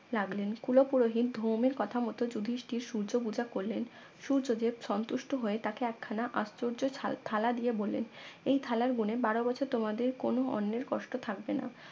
লাগলেন কুলো পুরোহিত ধৌমের কথা মতো যুধিষ্ঠির সূর্য পূজা করলেন সূর্যদেব সন্তুষ্ট হয়ে তাকে একখানা আশ্চর্য থা থালা দিয়ে বললেন এই থালার গুনে বারো বছর তোমাদের কোনো অন্যের কষ্ট থাকবে না